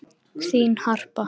Þín, Harpa.